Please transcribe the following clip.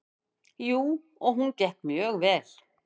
Jú, og hún gekk mjög vel.